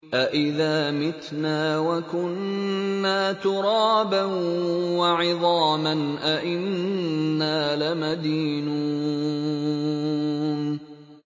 أَإِذَا مِتْنَا وَكُنَّا تُرَابًا وَعِظَامًا أَإِنَّا لَمَدِينُونَ